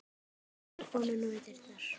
Horfir á konuna við dyrnar.